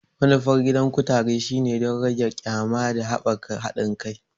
Manufar gidan kutare shine don rage ƙyama da haɓaka haɗin kai.